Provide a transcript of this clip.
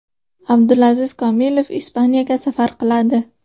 Abdulaziz Komilov Ispaniyaga safar qiladi.